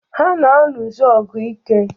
Ha na-aṅụzị ọgwụ ike.